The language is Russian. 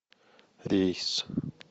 рейс